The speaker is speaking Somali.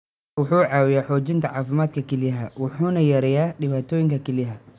Kalluunku wuxuu caawiyaa xoojinta caafimaadka kelyaha wuxuuna yareeyaa dhibaatooyinka kelyaha.